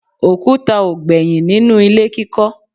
òkúta ò gbẹ́yìn nínú ilé kíkọ́